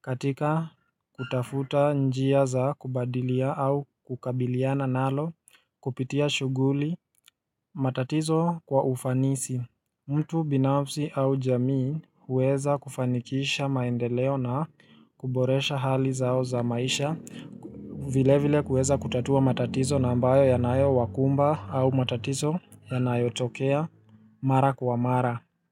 katika kutafuta njia za kubadilia au kukabiliana nalo kupitia shughuli matatizo kwa ufanisi. Mtu binafsi au jamii huweza kufanikisha maendeleo na kuboresha hali zao za maisha Vilevile kuweza kutatua matatizo na ambayo yanayowakumba au matatizo yanayotokea mara kwa mara.